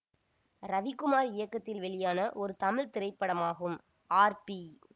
ரவிக்குமார் இயக்கத்தில் வெளியான ஒரு தமிழ் திரைப்படமாகும் ஆர் பி